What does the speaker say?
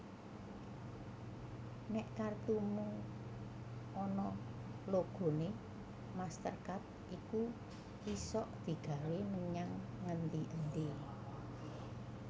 Nek kartumu onok logone MasterCard iku isok digawe menyang ngendi endi